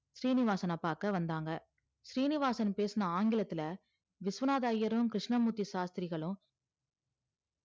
சீனிவாசன பாக்க வந்தாங்க சீனிவாசன் பேசுன ஆங்கிலத்துல விஸ்வநாத ஐயரும் கிருஷ்ணமூர்த்தி ஷாஷ்திரிகலு